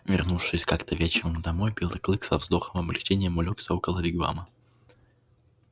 вернувшись как-то вечером домой белый клык со вздохом облегчения улёгся около вигвама